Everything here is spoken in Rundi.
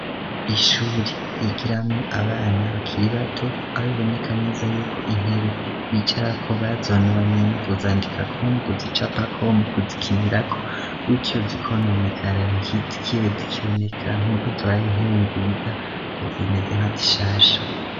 Ishure yigiramwo abana bakiri bato aho biboneka neza yuko intebe bicarako bazononye mu kuzandikako, mu kuzicapako, mu kuzikinirako, gutyo zikononekara ntizibe zikiboneka nk'uko zibaye intebe nziza kuko zimeze nka zishasha.